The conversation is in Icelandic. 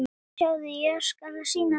Sjáðu, ég skal sýna þér